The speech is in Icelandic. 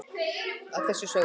að þessu sögðu